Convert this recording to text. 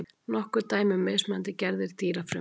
Nokkur dæmi um mismunandi gerðir dýrafrumna.